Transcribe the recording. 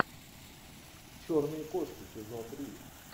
черные кошки сезон три